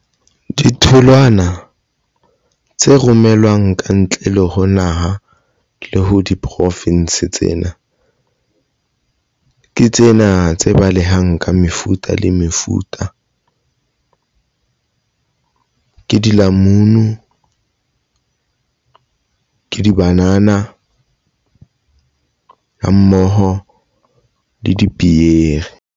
Ditholwana tse romelwang ka ntle le ho naha le ho diprofinsi tsena ke tsena tse balehang ka mefuta le mefuta ke dilamunu, dibanana ha mmoho le dipieri.